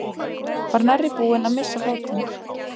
Var nærri búinn að missa fótinn